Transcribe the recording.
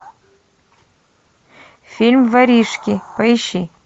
фильм воришки поищи